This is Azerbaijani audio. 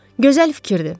Gözəl fikirdir.